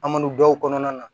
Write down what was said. An man don dɔw kɔnɔna na